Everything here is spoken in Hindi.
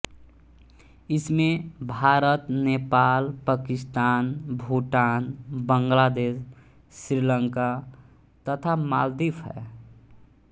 इसमें भारत नेपाल पाकिस्तान भूटान बंगलादेश श्रीलंका तथा मालद्वीप हैं